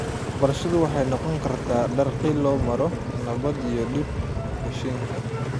Waxbarashadu waxay noqon kartaa dariiq loo maro nabadda iyo dib-u-heshiisiinta.